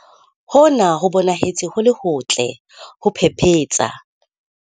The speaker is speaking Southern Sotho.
Hona ho bonahetse ho le hotle, ho phephetsa!